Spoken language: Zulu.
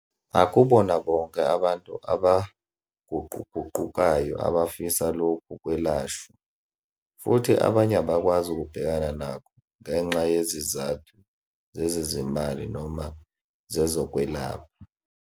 Akubona bonke abantu abaguquguqukayo abafisa lokhu kwelashwa, futhi abanye abakwazi ukubhekana nakho ngenxa yezizathu zezezimali noma zezokwelapha.